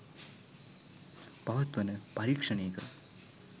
පවත්වන පරීක්ෂණයක